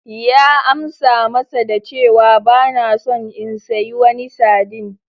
Ya amsa masa da cewa: Ba na son in sayi wani sardine.